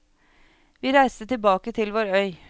Vi reiste tilbake til vår øy.